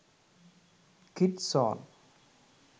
kids song